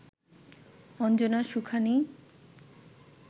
Anjana Sukhani